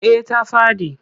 Eh ta faɗi.